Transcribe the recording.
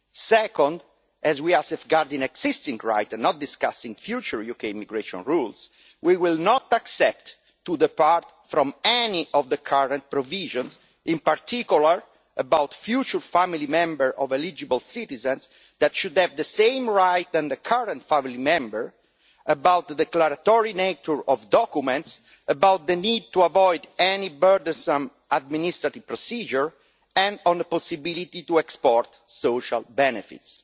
Second, as we are safeguarding existing rights and not discussing future UK immigration rules, we will not accept to depart from any of the current provisions, in particular about future family members of eligible citizens that should have the same rights as current family members, about the declaratory nature of documents, about the need to avoid any burdensome administrative procedure, and on the possibility to export social benefits.